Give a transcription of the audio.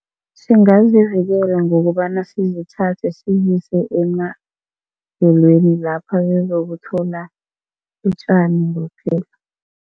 Singazivikela ngokobana sizithathe sizise emadlelweni lapho zizokuthola utjani